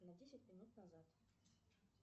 на десять минут назад